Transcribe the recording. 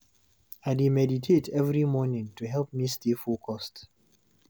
I dey meditate every morning to help me stay focused.